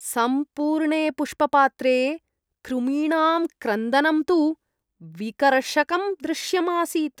सम्पूर्णे पुष्पपात्रे कृमीणां क्रन्दनं तु विकर्षकं दृश्यम् आसीत्।